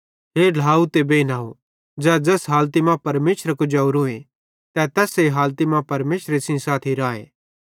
हे ढ्लाव ते बेइनव ज़ै ज़ैस हालती मां परमेशरे कुजवरोए तै तैस्से हालती मां परमेशरे सेइं साथी राए